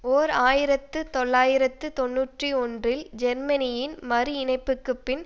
ஓர் ஆயிரத்து தொள்ளாயிரத்து தொன்னூற்றி ஒன்றில் ஜெர்மனியின் மறு இணைப்புக்கு பின்பு